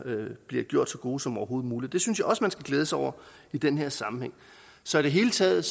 bliver gjort så gode som overhovedet muligt det synes jeg også man skal glæde sig over i den her sammenhæng så i det hele taget